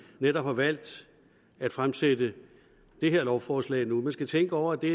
netop har valgt at fremsætte det her lovforslag nu man skal tænke over at det